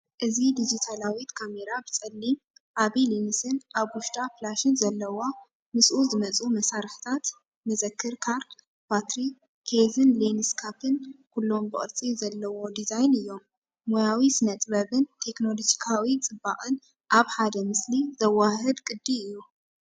እዚ ዲጂታላዊት ካሜራ ብጸሊም፡ ዓቢ ሌንስን ኣብ ውሽጣ ፍላሽን ዘለዋ። ምስኡ ዝመጹ መሳርሒታት፡ መዘክር ካርድ፡ ባትሪ፡ ኬዝን ሌንስ ካፕን፡ ኩሎም ብቅርጺ ዘለዎ ዲዛይን እዮም። ሞያዊ ስነ-ጥበብን ቴክኖሎጂካዊ ጽባቐን ኣብ ሓደ ምስሊ ዘወሃህድ ቅዲ እዩ።